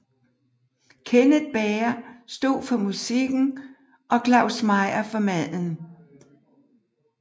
Kenneth Bager stod for musikken og Claus Meyer for maden